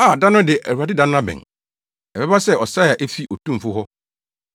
A, da no de! Awurade da no abɛn; Ɛbɛba sɛ ɔsɛe a efi Otumfo hɔ.